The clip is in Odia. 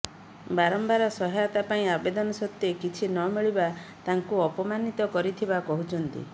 ବାରମ୍ବାର ସହାୟତା ପାଇଁ ଆବେଦନ ସତ୍ୱେ କିଛି ନମିଳିବା ତାଙ୍କୁ ଅପମାନିତ କରିଥିବା କହିଛନ୍ତି